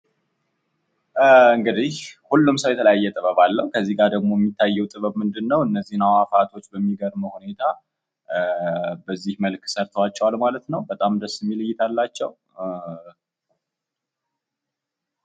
እንግዲህ ሁሉም ሰው የተለያየ ጥበብ አለው እና እሄ ጥበብ ደግሞ እነዚህን አዕዋፋት በተለያየ እና በሚገርም ሁኔታ ሰርተዋቸዋል ማለት ነው ።ደስ የሚል እይታ አላቸው።